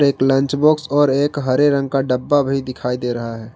एक lunch box और एक हरे रंग का डब्बा भी दिखाई दे रहा है।